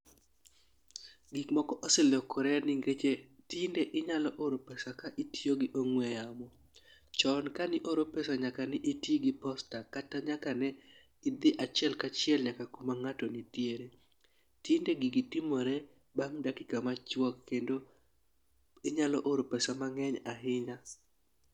Gik moko oselokore nikech tinde inyalo oro pesa ka itiyo gi ong'we yamo. Chon kani oro pesa nyaka ne itigi posta kata nyaka nedhi achiel kachiel nyaka kuma ng'ato nitiere. Tinde gigi timore bang' dakika machuok kendo inyalo oro pesa mang'eny ahinya.